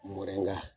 Mɔrɛ